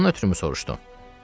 Bundan ötrümü soruşdun?